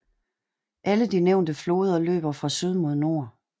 Alle de nævnte floder løber fra syd mod nord